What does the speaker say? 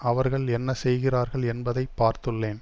அவர்கள் என்ன செய்கிறார்கள் என்பதை பார்த்துள்ளேன்